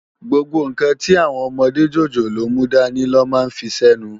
Gbógbó nkán ti áwòn òmòdé jójólóò múdàní lò má n fisènú